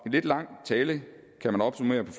lidt lang tale kan man opsummere på